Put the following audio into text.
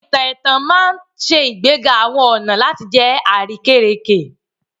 Àwọn ìtàn ẹ̀tàn ma n ṣe ìgbéga àwọn ọna láti jẹ àrékérekè